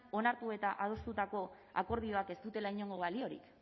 onartu eta adostutako akordioak ez dutela inongo baliorik